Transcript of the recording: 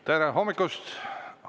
Tere hommikust!